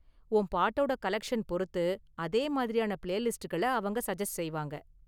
உன் பாட்டோட கலெக்ஷன் பொறுத்து, அதே மாதிரியான பிளேலிஸ்ட்களை அவங்க சஜஸ்ட் செய்வாங்க.